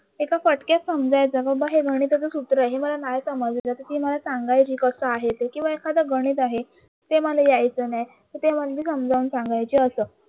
एका कट्क्यात समजायचं बाबा हे गणिताचे सूत्र मला नाही समजलं तर ती मला सांगायची की कस आही हे कसं आहे किवा एखाद गणित आहे ते मला यायचं नाही म्हणजे समजावून सांगायची अस